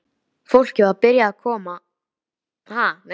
Fólkið var byrjað að borða þegar þeir komu inn.